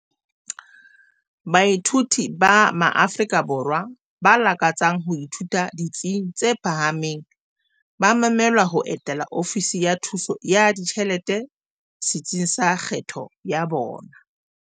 Baithuti ba maAfrika Borwa ba lakatsang ho ithuta ditsing tse phahameng ba memelwa ho etela Ofisi ya Thuso ya Ditjhelete setsing sa kgetho ya bona.